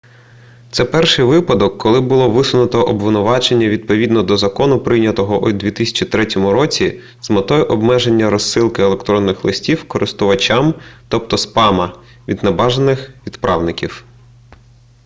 це перший випадок коли було висунуто обвинувачення відповідно до закону прийнятого у 2003 році з метою обмеження розсилки електронних листів користувачам тобто спама від небажаних відправників